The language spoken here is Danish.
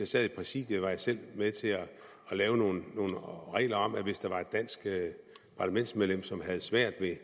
sad i præsidiet var jeg selv med til at lave nogle regler om at hvis der var et dansk parlamentsmedlem som havde svært ved